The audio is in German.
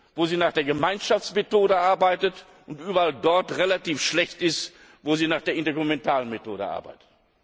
wo sie nach der Gemeinschaftsmethode arbeitet, und überall dort relativ schlecht ist, wo sie nach der intergouvernementalen Methode arbeitet.